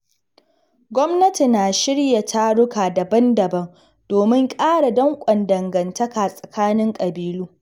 Gwamnati na shirya taruka daban-daban domin ƙara danƙon dangantaka tsakani ƙabilu.